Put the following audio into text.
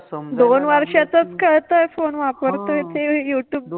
दोन वर्षातच काय तर फोन वापरता येते, यु ट्युब